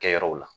Kɛ yɔrɔw la